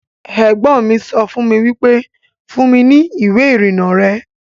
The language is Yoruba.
Ẹ̀gbọ́n mi sọ fún mi wípé 'Fún mi ní ìwé ìrìnnà rẹ'